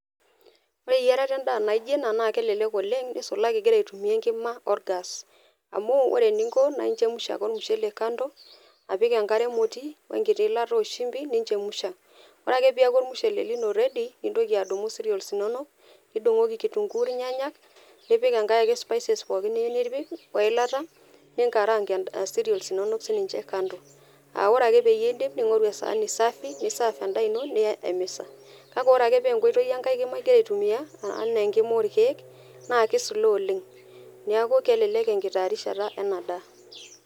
Ore eyierata endaa naijo ena naa kelelek oleng , nisulaki ingira aitumia enkima orgas . Amu ore eninko naa inchemusha ake ormushele kando apik enkare emoti wenkiti ilata oshimi , nichemsha . Ore ake peaku ormushele lino ready nintoki adumu cereals inonok , nidungoki kitunguu, irnyanyak, nipik enkae ake spices ake pookin niyieu nipik, ningarang nena cereals inonok kando . Aa ore ake piindip, ningoru esaani safi ,nisaf endaa ino niya emisa. Kake ore ake paa enkae oitoi enkae kima ingira aitumia anaa enkima orkiek naa kislow oleng. Niaku kelelek enkitaarishata ena daa.